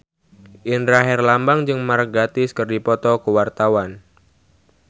Indra Herlambang jeung Mark Gatiss keur dipoto ku wartawan